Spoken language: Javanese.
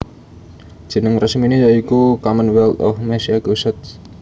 Jeneng resminé ya iku Commonwealth of Massachusetts